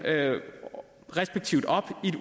respektivt op